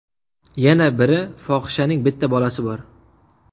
Yana biri fohishaning bitta bolasi bor.